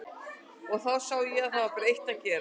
Og þá sá ég að það var bara eitt að gera.